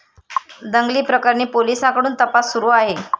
दंगलीप्रकरणी पोलिसांकडून तपास सुरू आहे.